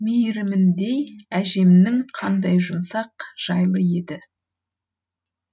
мейіріміндей әжемнің қандай жұмсақ жайлы еді